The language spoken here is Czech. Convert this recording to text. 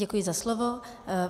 Děkuji za slovo.